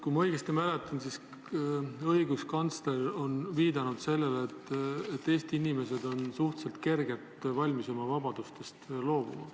Kui ma õigesti mäletan, siis õiguskantsler on viidanud sellele, et Eesti inimesed on suhteliselt kergesti valmis oma vabadustest loobuma.